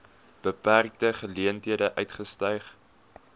beperkte geleenthede uitgestyg